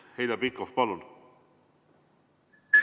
Heljo Pikhof, palun!